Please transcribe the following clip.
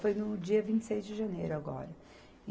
Foi no dia vinte e seis de janeiro agora.